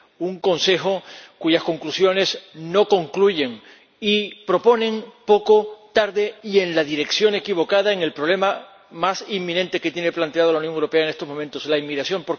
Un Consejo cuyas conclusiones no concluyen y proponen poco, tarde y en la dirección equivocada para resolver el problema más inminente que tiene planteado la Unión Europea en estos momentos la inmigración.